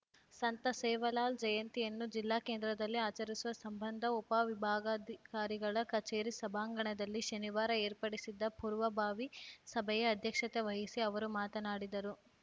ಸಂತ ಸೇವಾಲಾಲ್‌ ಜಯಂತಿಯನ್ನು ಜಿಲ್ಲಾಕೇಂದ್ರದಲ್ಲಿ ಆಚರಿಸುವ ಸಂಬಂಧ ಉಪವಿಭಾಗಾಧಿಕಾರಿಗಳ ಕಚೇರಿ ಸಭಾಂಗಣದಲ್ಲಿ ಶನಿವಾರ ಏರ್ಪಡಿಸಿದ್ದ ಪೂರ್ವಭಾವಿ ಸಭೆಯ ಅಧ್ಯಕ್ಷತೆ ವಹಿಸಿ ಅವರು ಮಾತನಾಡಿದರು